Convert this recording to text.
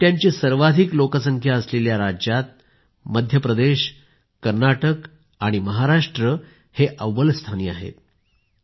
बिबट्यांची सर्वाधिक लोकसंख्या असलेल्या राज्यात मध्य प्रदेश कर्नाटक आणि महाराष्ट्र अव्वल स्थानी आहेत